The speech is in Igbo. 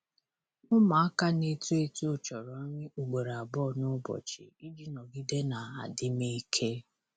Ụmụaka na-eto eto chọrọ nri ugboro abụọ n'ụbọchị iji nọgide na adịm ike.